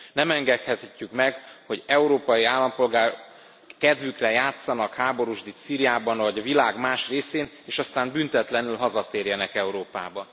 Nem engedhetjük meg, hogy európai állampolgárok kedvükre játszanak háborúsdit Szíriában vagy a világ más részén és aztán büntetlenül hazatérjenek Európába.